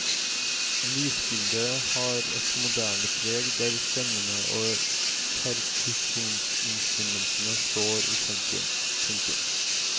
Lydbildet har et moderne preg der stemmene og perkusjonsinstrumentene står i sentrum. punktum